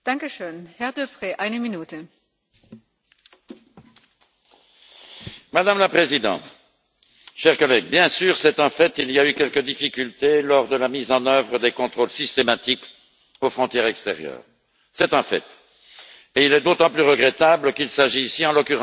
Madame la Présidente, chers collègues, bien sûr, il y a eu quelques difficultés lors de la mise en œuvre des contrôles systématiques aux frontières extérieures. C'est un fait d'autant plus regrettable qu'il s'agit, en l'occurrence, d'une fausse frontière extérieure, puisqu'elle est destinée à disparaître prochainement.